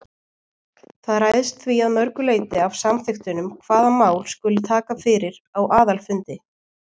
Það ræðst því að öðru leyti af samþykktunum hvaða mál skuli taka fyrir á aðalfundi.